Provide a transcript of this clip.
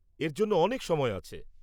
এর জন্য অনেক সময় আছে।